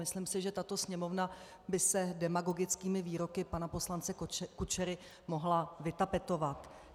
Myslím si, že tato Sněmovna by se demagogickými výroky pana poslance Kučery mohla vytapetovat.